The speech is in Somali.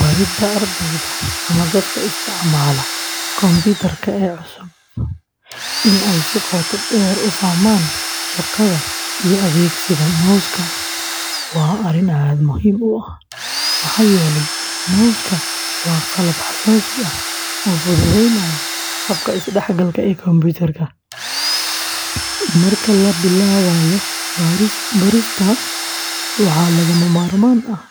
Baridda ardayda ama dadka isticmaala kombiyuutarka ee cusub in ay si qoto dheer u fahmaan shaqada iyo adeegsiga mouska waa arrin aad muhiim u ah, maxaa yeelay mouska waa qalab xasaasi ah oo fududeynaya habka isdhexgalka ee kombiyuutarka. Marka la bilaabayo barista, waxaa lagama maarmaan ah